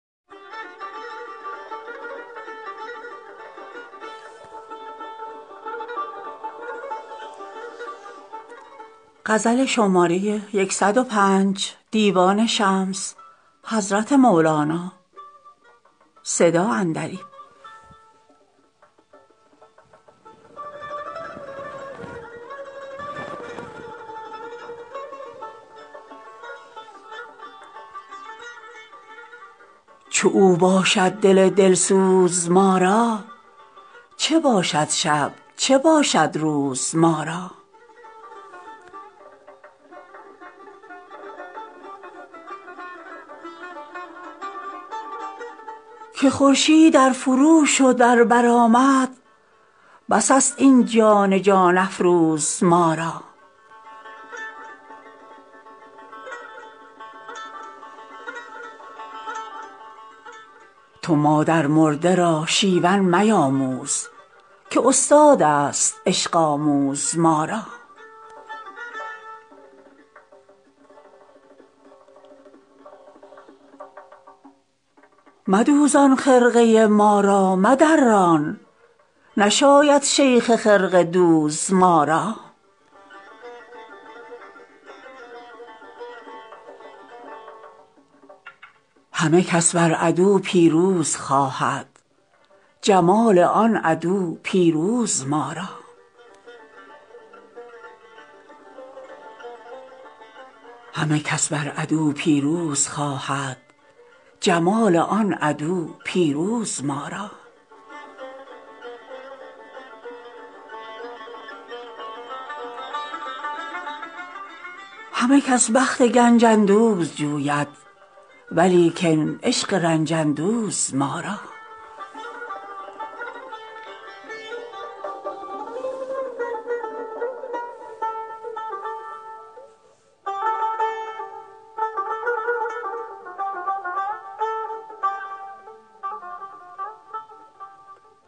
چو او باشد دل دل سوز ما را چه باشد شب چه باشد روز ما را که خورشید ار فروشد ار برآمد بس است این جان جان افروز ما را تو مادرمرده را شیون میآموز که استادست عشق آموز ما را مدوزان خرقه ما را مدران نشاید شیخ خرقه دوز ما را همه کس بر عدو پیروز خواهد جمال آن عدو پیروز ما را همه کس بخت گنج اندوز جوید ولیکن عشق رنج اندوز ما را